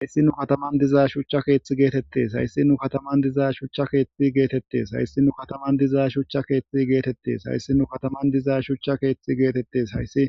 Hayssi nu kataman dizaa shucha keeththi geetettees hayssi nu kataman diza shucha keethti geetettes hayssi nu kataman dizaa shucha keeththi geetettes hayssi nu kataman dizaa shucha keeththi geetettes hayssi